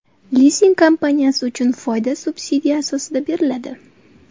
Lizing kompaniyasi uchun foyda subsidiya asosida beriladi.